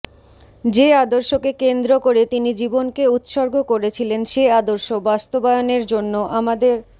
যে আদর্শকে কেন্দ্র করে তিনি জীবনকে উৎসর্গ করেছিলেন সে আদর্শ বাস্তবায়নের জন্য আমাদের